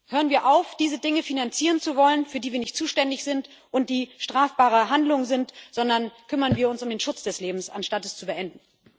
Hören wir auf, diese Dinge finanzieren zu wollen, für die wir nicht zuständig sind und die strafbare Handlungen sind, sondern kümmern wir uns um den Schutz des Lebens, anstatt es zu beenden!